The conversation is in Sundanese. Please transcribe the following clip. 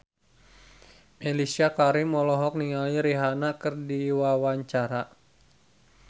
Mellisa Karim olohok ningali Rihanna keur diwawancara